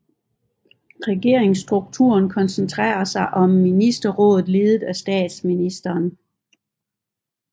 Regeringsstrukturen koncentrerer sig om Ministerrådet ledet af statsministeren